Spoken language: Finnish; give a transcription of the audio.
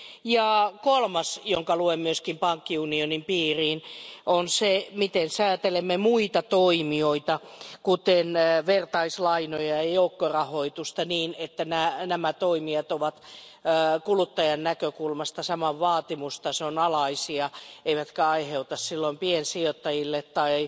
Ja kolmas tekijä, jonka luen myös pankkiunionin piiriin, on se, miten säätelemme muita toimijoita, kuten vertaislainoja ja joukkorahoitusta, jotta nämä toimijat ovat kuluttajan näkökulmasta saman vaatimustason alaisia eivätkä aiheuta piensijoittajille tai